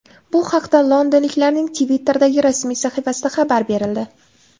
Bu haqda londonliklarning Twitter’dagi rasmiy sahifasida xabar berildi .